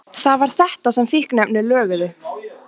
Það var þetta sem fíkniefnin löguðu.